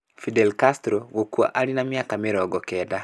Fidel Castro gũkua arĩ na mĩaka 90